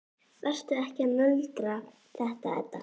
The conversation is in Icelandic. Vertu ekki að nöldra þetta, Edda.